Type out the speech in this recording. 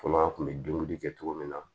Fɔlɔ an kun bɛ dumuni kɛ cogo min na